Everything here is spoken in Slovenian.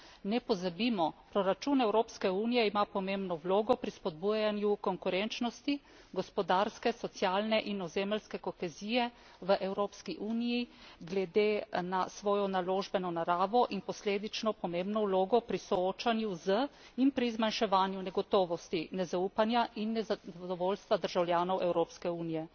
Ne pozabimo, proračun Evropske unije ima pomembno vlogo pri spodbujanju konkurenčnosti, gospodarske, socialne in ozemeljske kohezije v Evropski uniji glede na svojo naložbeno naravo in posledično pomembno vlogo pri soočanju z in pri zmanjševanju negotovosti, nezaupanja in nezadovoljstva državljanov Evropske unije.